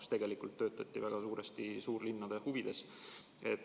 Aga tegelikult töötati väga suuresti suurlinnade huvides.